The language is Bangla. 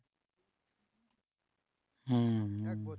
হম হম